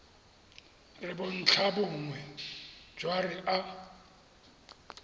re bontlhabongwe jwa re a